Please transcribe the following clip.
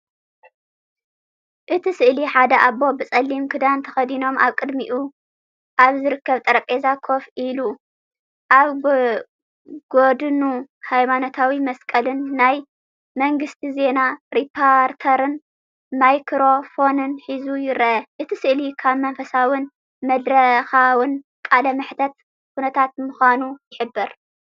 እቲ ስእሊ ሓደ ኣቦ ብጸሊም ክዳን ተከዲኖም ኣብ ቅድሚኡ ኣብ ዝርከብ ጠረጴዛ ኮፍ ኢሉ፡ ኣብ ጎድኑ ሃይማኖታዊ መስቀልን ናይ መንግስቲ ዜና ሪፖርተርን ማይክሮፎን ሒዙ ይርአ። እቲ ስእሊ ካብ መንፈሳውን መድረኻውን ቃለ መሕትት ኩነታት ምዃኑ ይሕብር።